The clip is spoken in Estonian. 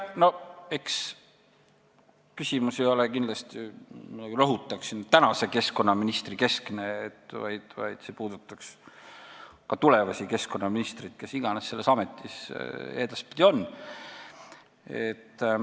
Ma rõhutan, et see küsimus ei ole kindlasti tänase keskkonnaministri keskne, vaid see puudutab ka tulevasi keskkonnaministreid, kes iganes selles ametis edaspidi on.